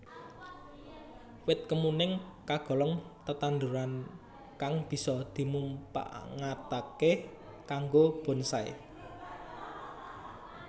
Wit kemuning kagolong tetanduran kang bisa dimumpangataké kanggo bonsai